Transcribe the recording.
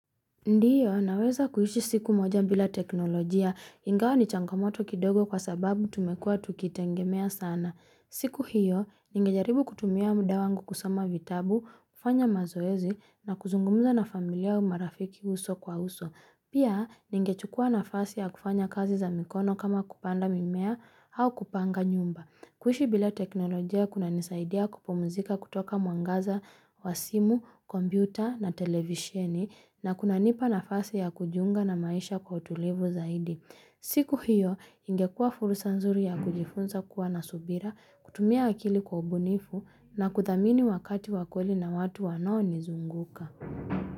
Ndiyo, naweza kuishi siku moja bila teknolojia ingawa ni changamoto kidogo kwa sababu tumekua tukitengemea sana. Siku hiyo, ningejaribu kutumia muda wangu kusoma vitabu, kufanya mazoezi na kuzungumza na familia marafiki uso kwa uso. Pia, ningechukua nafasi ya kufanya kazi za mikono kama kupanda mimea au kupanga nyumba. Kuishi bila teknolojia kuna nisaidia kupumzika kutoka mwangaza, wa simu, kompyuta na televisheni na kunanipa nafasi ya kujiunga na maisha kwa utulivu zaidi. Siku hiyo ingekua fursa nzuri ya kujifunza kuwa na subira, kutumia akili kwa ubunifu na kuthamini wakati wa kweli na watu wanaonizunguka.